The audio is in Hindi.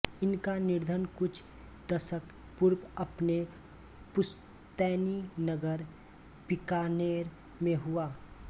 इनका निधन कुछ दशक पूर्व अपने पुश्तैनी नगर बीकानेर में हुआ